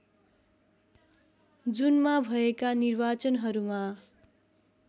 जुनमा भएका निर्वाचनहरूमा